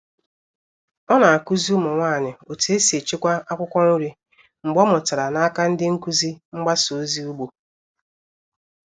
Ọ na-akụzi ụmụ nwanyị otu esi echekwa akwụkwọ nri mgbe ọ mụtara n'aka ndị nkuzi mgbasa ozi ugbo.